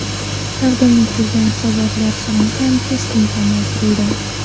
Taqdim etiladigan hisobotlar soni ham keskin kamaytirildi.